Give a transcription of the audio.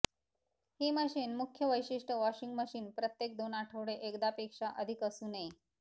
ही machine मुख्य वैशिष्ट्य washing machine प्रत्येक दोन आठवडे एकदा पेक्षा अधिक असू नये